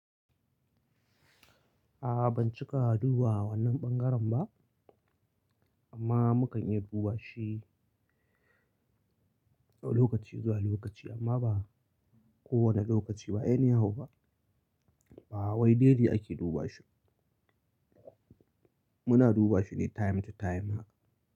Ban cika duba wannan ɓangaren ba amma mukan iya duba shi lokaci zuwa lokaci amma ba kowane lokaci ba ya nai hu ba wai daily ake duba shi. Muna duba shi ne time to time.